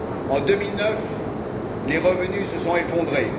En 2009, les revenus se sont effondrés.